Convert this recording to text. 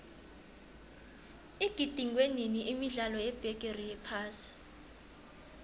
igidingwenini imidlalo yebigiri yephasi